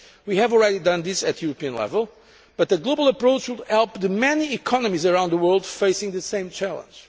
We have already done this at European level, but a global approach would help the many economies around the world facing the same challenge.